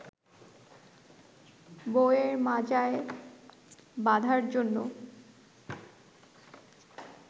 বউএর মাজায় বাঁধার জন্য